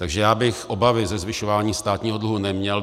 Takže já bych obavy ze zvyšování státního dluhu neměl.